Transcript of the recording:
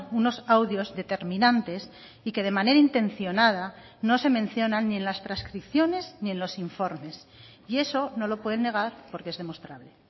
unos audios determinantes y que de manera intencionada no se mencionan ni en las transcripciones ni en los informes y eso no lo pueden negar porque es demostrable